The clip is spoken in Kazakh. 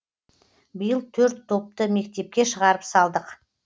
биыл төрт топты мектепке шығарып салдық